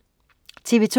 TV2: